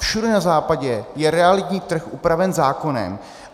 Všude na západě je realitní trh upraven zákonem.